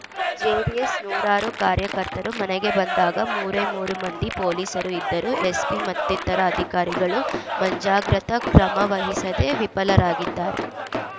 JDS ನೂರಾರು ಕಾರ್ಯಕರ್ತರು ಮನೆಗೆ ಬಂದಾಗ ಮೂರೇ ಮೂರು ಮಂದಿ ಪೊಲೀಸರು ಇದ್ದರು ಎಸ್ಪಿ ಮತ್ತಿತರ ಅಧಿಕಾರಿಗಳು ಮಂಜಾಗ್ರತಾ ಕ್ರಮ ವಹಿಸದೇ ವಿಫಲರಾಗಿದ್ದಾರೆ